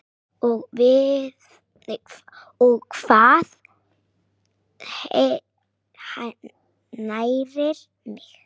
og Hvað nærir mig?